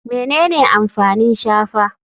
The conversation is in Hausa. Menene amfanin shafa?